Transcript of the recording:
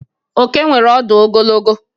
Oke nwere ọdụ ogologo.